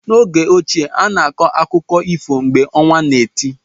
N'oge ochie, a na-akọ akụkọ ifo mgbe ọnwa na eti.